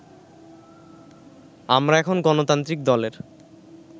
আমরা এখন গণতান্ত্রিক দলের